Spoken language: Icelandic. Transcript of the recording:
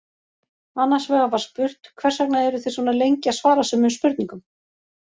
Annars vegar var spurt Hvers vegna eruð þið svona lengi að svara sumum spurningum?